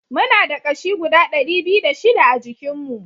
Muna da ƙashi guda dari biyu da shida a jikin mu